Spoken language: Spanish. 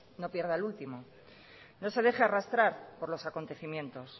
no pierda el último no se deje arrastrar por los acontecimientos